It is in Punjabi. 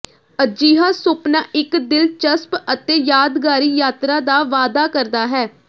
ਅਜਿਹਾ ਸੁਪਨਾ ਇਕ ਦਿਲਚਸਪ ਅਤੇ ਯਾਦਗਾਰੀ ਯਾਤਰਾ ਦਾ ਵਾਅਦਾ ਕਰਦਾ ਹੈ